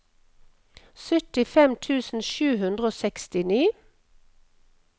syttifem tusen sju hundre og sekstini